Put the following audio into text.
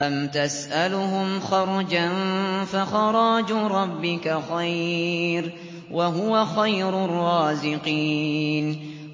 أَمْ تَسْأَلُهُمْ خَرْجًا فَخَرَاجُ رَبِّكَ خَيْرٌ ۖ وَهُوَ خَيْرُ الرَّازِقِينَ